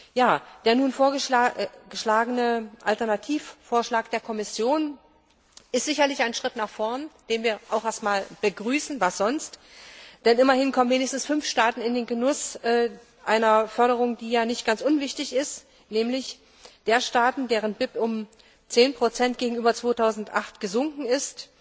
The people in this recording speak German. Ja, der nun vorliegende Alternativvorschlag der Kommission ist sicherlich ein Schritt nach vorn, den wir erst einmal begrüßen was sonst denn immerhin kommen wenigstens fünf Staaten in den Genuss eine Förderung, die nicht ganz unwichtig ist, nämlich jene Staaten, deren BIP um 10 gegenüber 2008 gesunken ist.